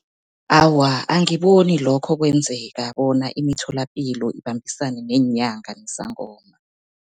Awa, angiboni lokho kwenzeka bona imitholapilo ibambisane neenyanga nezangoma.